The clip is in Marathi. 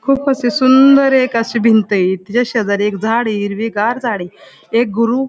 खूप अशी सुंदर एक अशी एक भिंतय तिच्या शेजारी झाडय हिरवीगार झाडय एक गुरु --